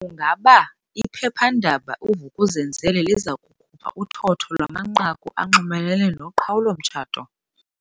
Ukuba iphephandaba i-Vuk'uzenzele liza kukhupha uthotho lwamanqaku anxulumene noqhawulo-mtshato?